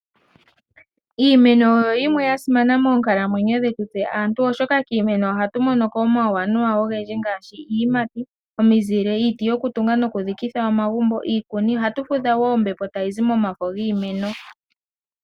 Iimeno oyo yimwe yomiinima mbyoka ya simana moonkalamwenyo dhetu tse aantu, oshoka kiimeno ohatu mono ko omauwanawa ogendji ngaashi: iiyimati, omizile, iiti yokutunga nokudhikitha omagumbo nosho wo iikuni. Ohatu fudha wo ombepo tayi zi momafo giimeno